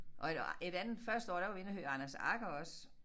Og et et andet første år der var vi inde og høre Anders Agger også